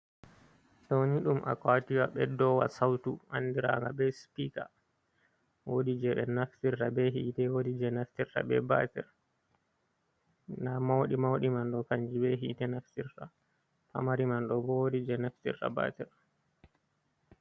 Doni ɗum akwatiwa beddowa sautu andiraga be spika wodi je ɓe naftirta be hite woɗi je naftirta be batir nɗa mauɗi mauɗi man ɗo kanji be hite naftirta pamari man ɗo bo woɗi je naftirta batir.